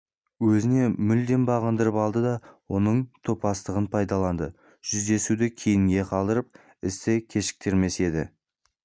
өзіне мүлдем бағындырып алды да оның топастығын пайдаланды жүздесуді кейінге қалдырып істі кешіктірмес еді